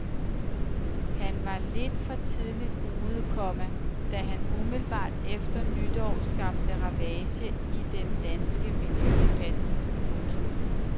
Han var lidt for tidligt ude, komma da han umiddelbart efter nytår skabte ravage i den danske miljødebat. punktum